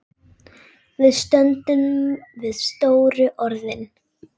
Við stöndum við stóru orðin.